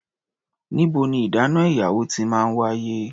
Níbo ní ìdáná ìyàwó ti máa ń wáyé?